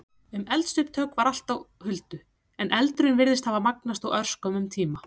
Um eldsupptök var allt á huldu, en eldurinn virtist hafa magnast á örskömmum tíma.